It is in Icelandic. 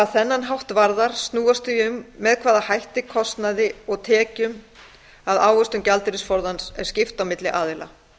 þennan þátt varðar snúast því um með hvaða hætti kostnaði og tekjum af ávöxtun gjaldeyrisforðans er skipt milli aðila